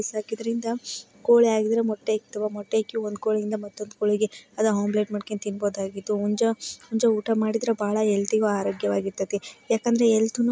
ಸಾಕಿದೀರಿಂದ ಕೋಳಿಗಿದ್ರೆ ಮೊಟ್ಟೆ ಇಕ್ತವೆ ಮೊಟ್ಟೆ ಇಕ್ಕಿ ಒಂದು ಕೋಳಿ ಇಂದ ಇನ್ನೊಂದ್ ಕ್ಕೊಳಿ ಗೆ ಅಥವಾ ಒಮೆಲೇಟ್ ಮಾಡ್ಕೊಂಡ್ ತಿನ್ನಬಹುದಾಗಿತ್ತು ಹುಂಜ ಊಟ ಮಾದಿದ್ರೆ ಬಹಳ ಹಹೆಲ್ತ್ ಗು ಅರೋಗ್ಯ ವಾಗಿರುತ್ತದೆ ಯಾಕಂದ್ರೆ ಹೆಲ್ತ್ನು --